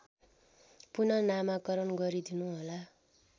पुनःनामाकरण गरिदिनुहोला